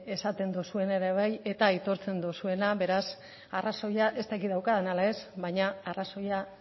esaten duzuena ere bai eta aitortzen duzuena beraz arrazoia ez dakit daukadan ala ez baina arrazoia